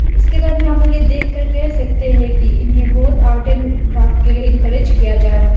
उसके बाद में हम लोग यह देखकर कह सकते हैं कि इन्हें बहुत आर्ट एंड क्राफ्ट के लिए इनकरेज किया जा रहा--